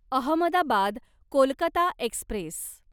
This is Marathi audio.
अहमदाबाद कोलकाता एक्स्प्रेस